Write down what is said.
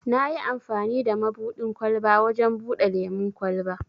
Nayi amfani da mabuɗin ƙwalba wajen buɗe lemun kwalba.